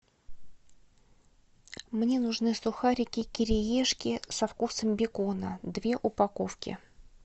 мне нужны сухарики кириешки со вкусом бекона две упаковки